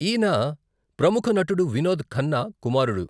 ఈయన ప్రముఖ నటుడు వినోద్ ఖన్నా కుమారుడు.